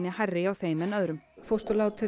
hærri hjá þeim en öðrum fósturlát eru